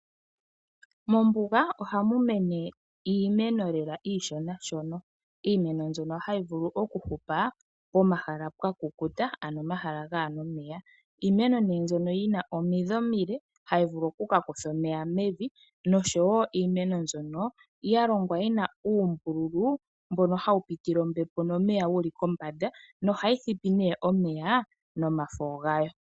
Mombuga ohamu mene iimeno lela iishonashona, iimeno mbyono hayi vulu okuhupa pomahala pwakukuta ano omahala gaana omeya. Iimeno mbyono yina omidhi omile, havulu okukutha omeya mevi noshowoo iimeno mbyono yalongwa yina uumbululu mbono hawu pitile ombepo nomeya wuli pombanda nohayi thipi omeya nomafo gayo.